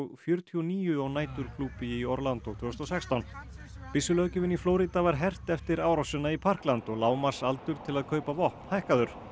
fjörutíu og níu á næturklúbbi í tvö þúsund og sextán í Flórída var hert eftir árásina í Parkland og lágmarksaldur til að kaupa vopn hækkaður